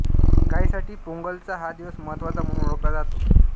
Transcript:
गायींसाठी पोंगलचा हा दिवस महत्वाचा म्हणून ओळखला जातो